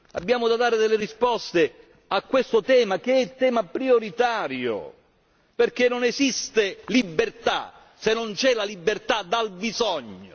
Abbiamo da dare delle risposte su questo tema che è il tema prioritario, perché non esiste libertà se non c'è la libertà dal bisogno.